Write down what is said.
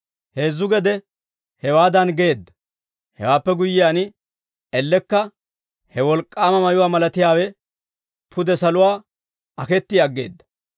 Heezzu gede hewaadan geedda; hewaappe guyyiyaan, ellekka he wolk'k'aama mayuwaa malatiyaawe pude saluwaa aketti aggeedda.